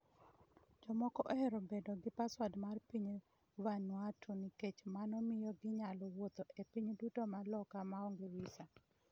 Jomoko ohero bedo gi pasport mar piny Vanuatu - nikech mano miyo ginyalo wuotho ​​e pinj duto ma loka maonge visa.